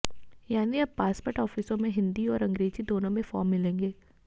यानी अब पासपोर्ट ऑफिसों में हिंदी और अंग्रेजी दोनों मे फॉर्म मिलेंगे